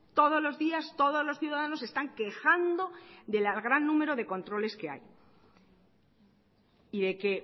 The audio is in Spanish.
todos los días todos los ciudadanos se están quejando del gran número de controles que hay y de que